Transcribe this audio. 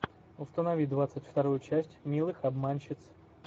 установи двадцать вторую часть милых обманщиц